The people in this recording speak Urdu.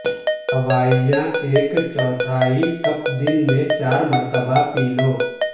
دوائیاں ایک چوتھائی کپ دن میں چار مرتبہ پی لو